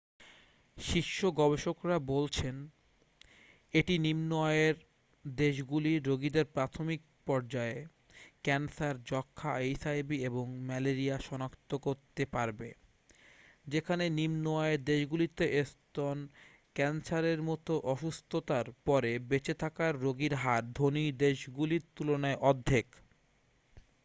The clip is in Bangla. শীর্ষ গবেষকরা বলছেন এটি নিম্ন-আয়ের দেশগুলির রোগীদের প্রাথমিক পর্যায়ে ক্যান্সার যক্ষা এইচআইভি এবং ম্যালেরিয়া শনাক্তকরতে পারবে যেখানে নিম্ন আয়ের দেশগুলিতে স্তন ক্যান্সারের মতো অসুস্থতার পরে বেঁচে থাকার রোগীর হার ধনী দেশগুলির তুলনায় অর্ধেক